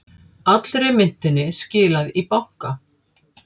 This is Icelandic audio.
Allri myntinni skilað í banka